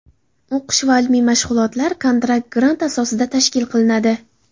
O‘qish va ilmiy mashg‘ulotlar kontrakt-grant asosida tashkil qilinadi.